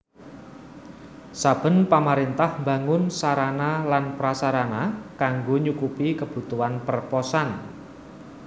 Saben pamaréntah mbangun sarana lan prasarana kanggo nyukupi kebutuhan perposan